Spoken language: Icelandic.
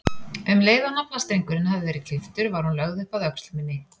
Um leið og naflastrengurinn hafði verið klipptur var hún lögð upp að öxl minni.